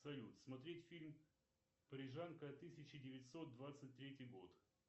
салют смотреть фильм парижанка тысяча девятьсот двадцать третий год